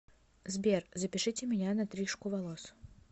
сбер запишите меня на трижку волос